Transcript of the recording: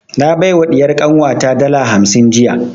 Na bai wa ɗiyar kanwa ta dala hamsin jiya